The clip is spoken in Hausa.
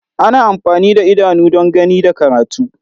Ana amfani da idanu don gani da karatu.